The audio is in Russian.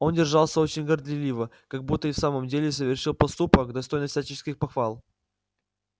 он держался очень горделиво как будто и в самом деле совершил поступок достойный всяческих похвал